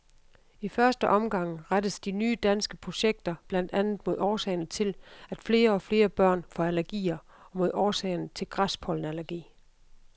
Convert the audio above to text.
I første omgang rettes de nye danske projekter blandt andet mod årsagerne til, at flere og flere børn får allergier og mod årsagerne til græspollenallergi.